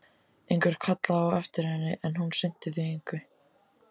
Einhver kallaði á eftir henni, en hún sinnti því engu.